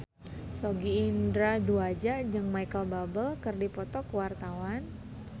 Sogi Indra Duaja jeung Micheal Bubble keur dipoto ku wartawan